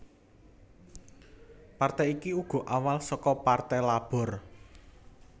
Partai iki uga awal saka Partai Labor